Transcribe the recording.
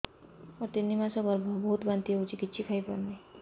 ମୋର ତିନି ମାସ ଗର୍ଭ ବହୁତ ବାନ୍ତି ହେଉଛି କିଛି ଖାଇ ପାରୁନି